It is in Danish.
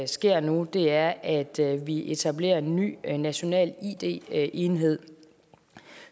sker nu er at vi etablerer en ny national id enhed